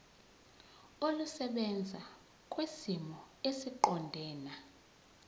olusebenza kwisimo esiqondena